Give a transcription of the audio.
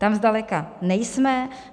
Tam zdaleka nejsme.